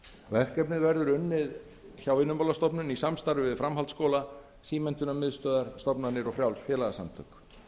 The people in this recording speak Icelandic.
verkefnið verður unnið hjá vinnumálastofnun í samstarfi við framhaldsskóla símenntunarmiðstöðvar stofnanir og frjáls félagasamtök